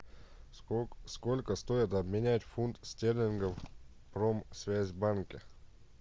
сколько стоит обменять фунт стерлингов в промсвязьбанке